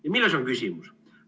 Ja milles on küsimus?